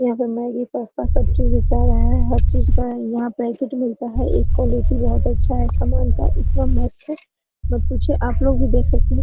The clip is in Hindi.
यहां पे मैगी पास्ता सब चीज बेचा रहे है हर चीज का यहां पैकेट मिलता है ये क्वालिटी बहुत अच्छा है सामान का इतना मस्त मत पूछिए आपलोग भी देख सकते है।